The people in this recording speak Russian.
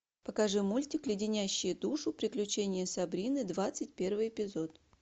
покажи мультик леденящие душу приключения сабрины двадцать первый эпизод